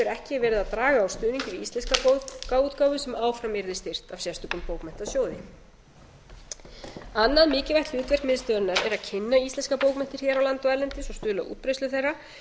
ekki verið að draga úr stuðningi við íslenska bókaútgáfu sem áfram yrði styrkt af sérstökum bókmenntasjóði annað mikilvægt hlutverk miðstöðvarinnar er að kynna íslenskar bókmenntir hér á landi og erlendis og stuðla að útbreiðslu þeirra